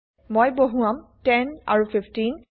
মই বহুৱাম 10 আৰু 15